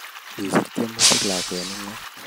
Kisiir tyemutik lakwet nengom